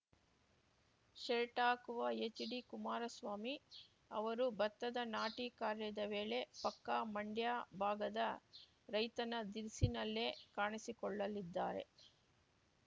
shirt ಹಾಕುವ HD Kumaraswamy ಅವರು ಭತ್ತದ ನಾಟಿ ಕಾರ್ಯದ ವೇಳೆ ಪಕ್ಕಾ ಮಂಡ್ಯ ಭಾಗದ ರೈತನ ಧಿರಿಸಿನಲ್ಲೇ ಕಾಣಿಸಿಕೊಳ್ಳಲಿದ್ದಾರೆ